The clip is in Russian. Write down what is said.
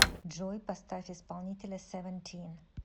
джой поставь исполнителя севентин